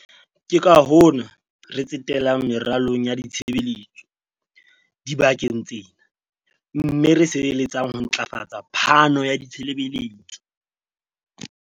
Ke ka hona re tsetelang meralong ya ditshebeletso dibakeng tsena mme re sebeletsang ho ntlafatsa phano ya ditshebeletso.